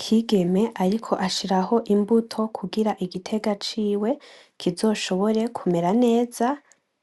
Kigeme ariko ashiraho imbuto kugira igiterwa ciwe kizoshobore kumera neza